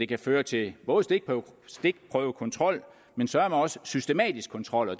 kan føre til stikprøvekontrol men søreme også systematisk kontrol og